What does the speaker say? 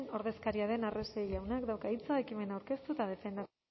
ordezkaria den arrese jaunak dauka hitza ekimena aurkeztu eta defenda